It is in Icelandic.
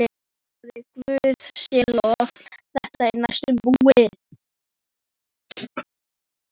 Hann hvíslaði: Guði sé lof að þetta er næstum búið.